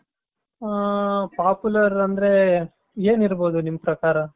ಹ Popular ಅಂದ್ರೆ ಏನ್ ಇರಬಹುದು ನಿಮ್ಮ ಪ್ರಕಾರ.